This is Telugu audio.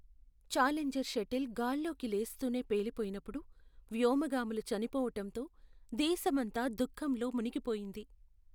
ఛాలెంజర్ షటిల్ గాల్లోకి లేస్తూనే పేలి పోయినప్పుడు వ్యోమగాములు చనిపోవటంతో దేశమంతా దుఖంలో మునిగిపోయింది.